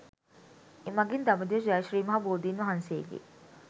එමඟින් දඹදිව ජය ශ්‍රී මහා බෝධීන් වහන්සේගේ